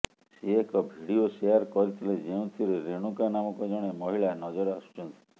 ସେ ଏକ video share କରିଥିଲେ ଯେଉଁଥିରେ ରେଣୁକା ନାମକ ଜଣେ ମହିଳା ନଜର ଆସୁଛନ୍ତି